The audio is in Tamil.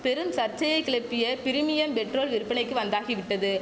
பெரும் சர்ச்சையை கிளப்பிய பிரிமியம் பெட்ரோல் விற்பனைக்கு வந்தாகிவிட்டது